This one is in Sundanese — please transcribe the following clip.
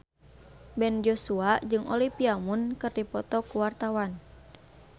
Ben Joshua jeung Olivia Munn keur dipoto ku wartawan